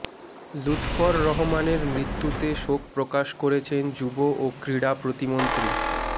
লুৎফর রহমানের মৃত্যুতে শোক প্রকাশ করেছেন যুব ও ক্রীড়া প্রতিমন্ত্রী মো